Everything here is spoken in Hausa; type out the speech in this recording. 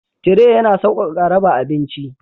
Tire yana sauƙaƙa raba abinci.